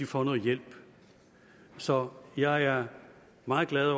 får noget hjælp så jeg er meget glad